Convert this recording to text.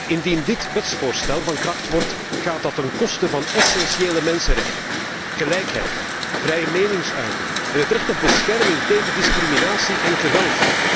Indien dit wetsvoorstel van kracht wordt, gaat dat ten koste van essentiële mensenrechten gelijkheid, vrije meningsuiting en het recht op bescherming tegen discriminatie en geweld.